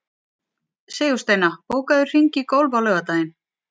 Sigursteina, bókaðu hring í golf á laugardaginn.